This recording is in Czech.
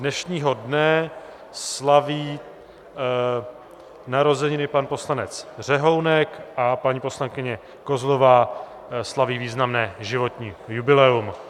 Dnešního dne slaví narozeniny pan poslanec Řehounek a paní poslankyně Kozlová slaví významné životní jubileum.